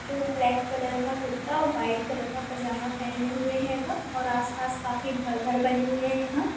जो black colour का कुरता और वाईट कलर का पैजामा पहने हुए हैं गा और आस-पास काफी घर बने हुए हैं यहाँ--